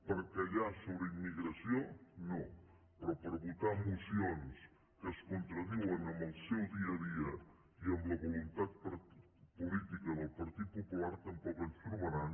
per callar sobre immigració no però per votar mocions que es contradiuen amb el seu dia a dia i amb la voluntat política del partit popular tampoc ens trobaran